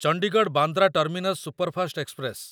Chandigarh Bandra terminus superfast express